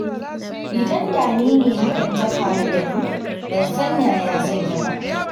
Idan da ni ne hakan ta faru da ni, ban san yaya zan yi ba.